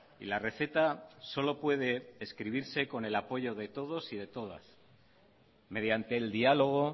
y la receta solo puede escribirse con el apoyo de todos y de todas mediante el diálogo